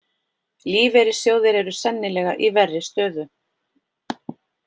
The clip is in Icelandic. Lífeyrissjóðir eru sennilega í verri stöðu